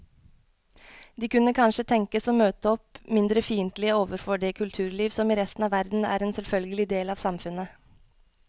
De kunne kanskje tenkes å møte opp mindre fiendtlige overfor det kulturliv som i resten av verden er en selvfølgelig del av samfunnet.